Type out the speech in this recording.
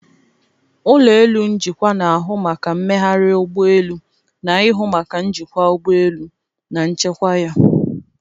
Ụlọ elu njikwa na ahụ maka mmegharị ụgbọ elu na-ihụ maka njikwa ụgbọ elu na nchekwa ya.